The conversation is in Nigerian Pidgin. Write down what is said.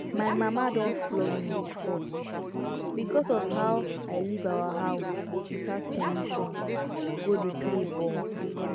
my mama don flog me before because of how i leave our house without permission go dey play ball